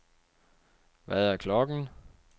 Hvad er klokken